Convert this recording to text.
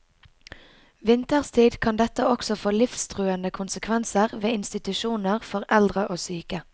Vinterstid kan dette også få livstruende konsekvenser ved institusjoner for eldre og syke.